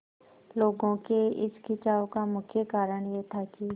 लोगों के इस खिंचाव का मुख्य कारण यह था कि